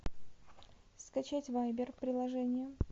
скачать вайбер приложение